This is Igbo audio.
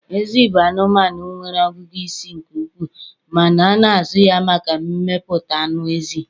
Ezi bụ anụmanụ nwere ọgụgụ isi nke ukwuu ma na-azụ ya maka mmepụta anụ ezi.